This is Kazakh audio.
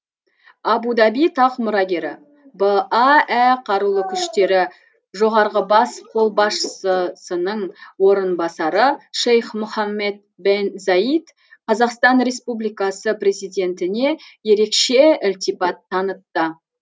абу даби тақ мұрагері баә қарулы күштері жоғарғы бас қолбасшысының орынбасары шейх мұхаммед бен заид қазақстан республикасы президентіне ерекше ілтипат танытты